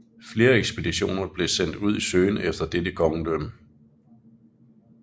Flere ekspeditioner blev sendt ud i søgen efter dette kongedømme